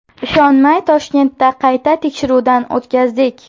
Ishonmay Toshkentda qayta tekshiruvdan o‘tkazdik.